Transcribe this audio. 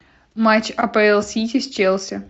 матч апл сити с челси